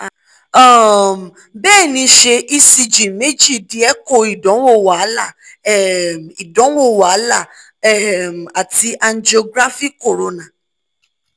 um bẹẹni ṣe ecg meeji di echo idanwo wahala um idanwo wahala um ati angiography corona